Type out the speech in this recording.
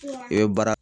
I bɛ baara